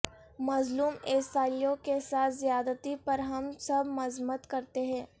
مظلوم عیسائیوں کے ساتھ زیادتی پر ہم سب مذمت کرتے ہیں